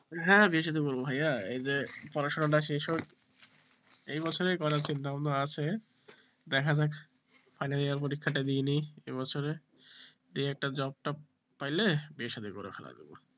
হ্যাঁ বিয়ে শাদী করবো ভাইয়া এই যে পড়াশোনাটা শেষ হোক এ বছরে করার চিন্তা ভাবনা আছে দেখা যাক final year পরীক্ষাটা দিয়ে নি এই বছরে দিয়ে একটা job টোপ পাইলে বিয়ে শাদী করে ফেলা যাবে।